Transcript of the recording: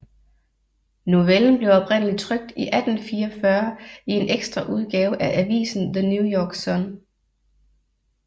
Novellen blev oprindeligt trykt i 1844 i en ekstraudgave af avisen The New York Sun